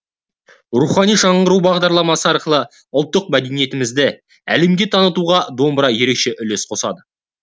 рухани жаңғыру бағдарламасы арқылы ұлттық мәдениетімізді әлемге танытуға домбыра ерекше үлес қосады